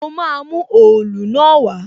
Mo máa mú òòlu náà wá